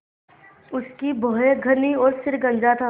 उसकी भौहें घनी और सिर गंजा था